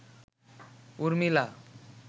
Urmila